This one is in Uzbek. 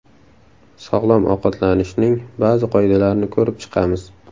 Sog‘lom ovqatlanishning ba’zi qoidalarini ko‘rib chiqamiz.